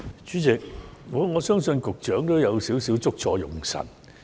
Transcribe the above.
主席，我相信局長有少許"捉錯用神"。